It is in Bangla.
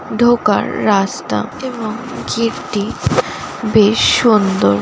ঢোকার রাস্তা এবং গেটটি বেশ সুন্দর।